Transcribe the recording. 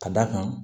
Ka d'a kan